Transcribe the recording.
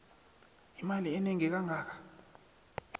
imali enengi kangaka